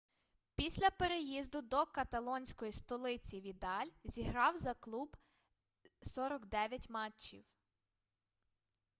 після переїзду до каталонської столиці відаль зіграв за клуб 49 матчів